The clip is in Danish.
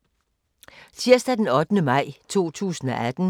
Tirsdag d. 8. maj 2018